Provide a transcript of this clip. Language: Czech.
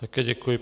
Také děkuji.